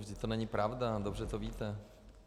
Vždyť to není pravda, dobře to víte.